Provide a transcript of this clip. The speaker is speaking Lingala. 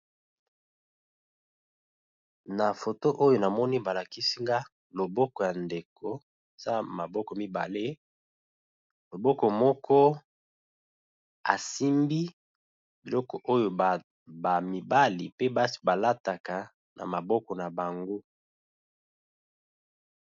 Na foto oyo namoni ba lakisi nga loboko ya ndeko eza maboko mibale, loboko moko asimbi biloko oyo ba mibali pe basi ba lataka na maboko na bango.